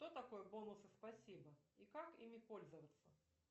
кто такой бонусы спасибо и как ими пользоваться